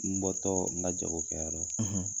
N bɔtɔɔ n ka jago kɛyɔrɔ la.